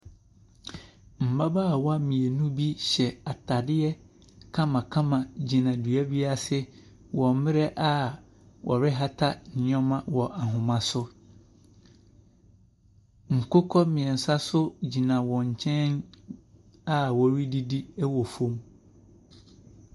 Mmabaawa mmienu bi hyɛ atadeɛ kamakama gyina dua bi ase wɔ mmerɛ a wɔrehata nneɛma wɔ ahoma so. Nkokɔ mmeɛnsa nso gyina wɔn nkyɛn a wɔredidi wɔ fam.